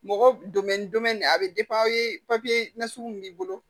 Mɔgɔ a bɛ aw ye papiye nasugu min b'i bolo